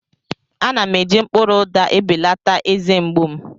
Ana m eji mkpụrụ ụda ebelata eze mgbu m.